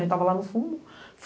Aí tava lá no fundo.